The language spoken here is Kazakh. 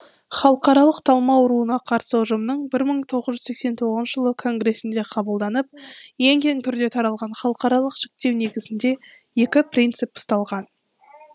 халықаралық талма ауруына қарсы ұжымның бір мың тоғыз жүз сексен тоғызыншы жылы конгресінде қабылданып ең кең түрде таралған халықаралық жіктеу негізінде екі принцип ұсталған